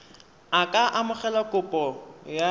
a ka amogela kopo ya